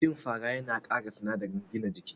Cin fara yana kara sinadarin gina jiki